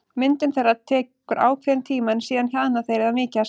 Myndun þeirra tekur ákveðinn tíma en síðan hjaðna þeir eða mýkjast.